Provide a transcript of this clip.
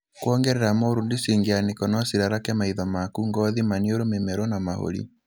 Kuongerera mold cingĩanĩko no cirarake maitho maku, gothi, maniũrũ, mũmero na mahũri.